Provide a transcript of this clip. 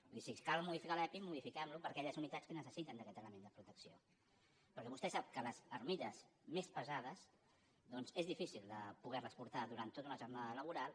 vull dir si cal modificar l’epi modifiquem lo per a aquelles unitats que necessiten aquest element de protecció perquè vostè sap que les armilles més pesades és difícil de poder les portar durant tota una jornada laboral